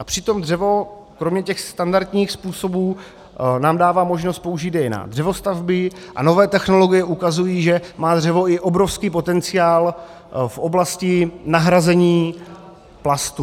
A přitom dřevo kromě těch standardních způsobů nám dává možnost použít je i na dřevostavby a nové technologie ukazují, že má dřevo i obrovský potenciál v oblasti nahrazení plastů.